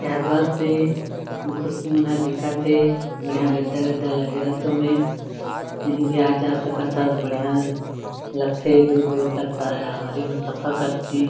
एहर बस ए एमा खुर्सी मन ह दिखत हे बढ़िया गद्दा-गद्दा लगे रथ ओमे कही भी आ जा सकत हस बढ़िया लगथे दूर-दूर तक सवारी में सफ़र करथे।